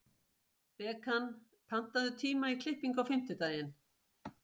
Bekan, pantaðu tíma í klippingu á fimmtudaginn.